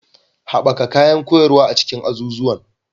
Haɓaka kayan koyarwa a cikin azuzuwan